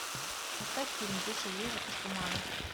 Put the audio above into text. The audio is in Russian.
поставь фильм вышел ежик из тумана